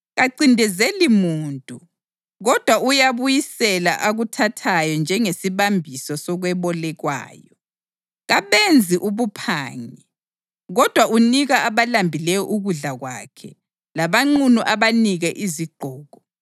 Kancindezeli muntu kodwa uyabuyisela akuthathayo njengesibambiso sokwebolekwayo. Kabenzi ubuphangi kodwa unika abalambileyo ukudla kwakhe labanqunu abanike izigqoko.